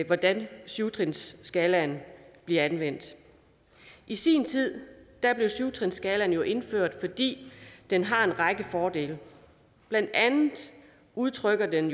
hvordan syv trinsskalaen bliver anvendt i sin tid blev syv trinsskalaen jo indført fordi den har en række fordele blandt andet udtrykker den